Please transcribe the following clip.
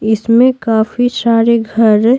इसमें काफी सारे घर--